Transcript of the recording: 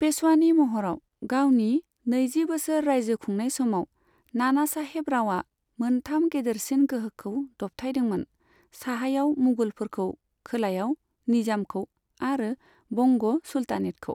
पेशवानि महराव गावनि नैजि बोसोर राइजो खुंनाय समाव, नानासाहेब रावआ मोनथाम गेदेरसिन गोहोखौ दबथायदोंमोन साहायाव मुगलफोरखौ, खोलायाव निजामखौ आरो बंग सुलतानेतखौ।